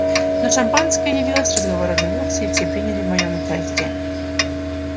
но шампанское явилось разговор оживился и все приняли в нем участие